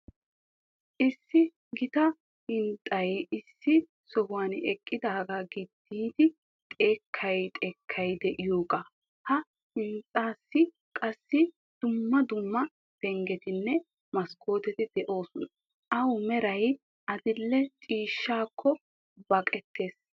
Issi gita hinxxay issi sohuwan eqqidaaga gididi xekkay xekkay de'iyooga. Ha hinxxaassi qassi dumma dumma penggetinne maskkoteti de'oosona. Awu meray adil"e ciishshaakko baqqiyaaga.